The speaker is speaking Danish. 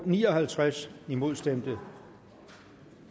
ni og halvtreds imod stemte